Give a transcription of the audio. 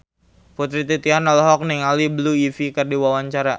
Putri Titian olohok ningali Blue Ivy keur diwawancara